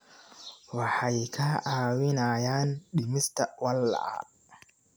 Waxay kaa caawinayaan dhimista walaaca.